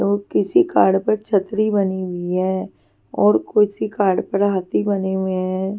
तो किसी कार्ड पर छतरी बनी हुई है और किसी कार्ड पर हाथी बने हुए हैं।